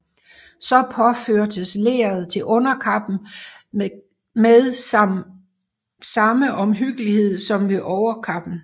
Så påførtes leret til underkappen med samme omhyggelighed som ved overkappen